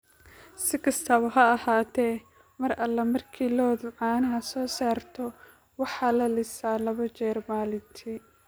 Si kastaba ha ahaatee, mar alla markii lo'du caanaha soo saarto, waxaa la lisaa laba jeer maalintii.